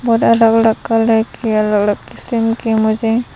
और अलग अलग कलर के अलग अलग किस्म के मुझे--